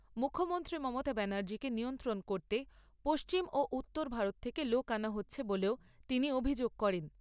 মুখ্যমন্ত্রী মমতা ব্যনার্জিকে নিয়ন্ত্রণ করতে পশ্চিম ও উত্তর ভারত থেকে লোক আনা হচ্ছে বলেও তিনি অভিযোগ করেন।